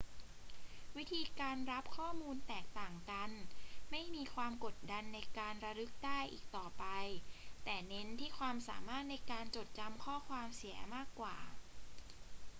วิธีการรับข้อมูลแตกต่างกัน ไม่มีความกดดันในการระลึกได้อีกต่อไป แต่เน้นที่ความสามารถในการจดจำข้อความเสียมากกว่า